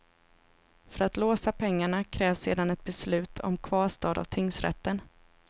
För att låsa pengarna krävs sedan ett beslut om kvarstad av tingsrätten.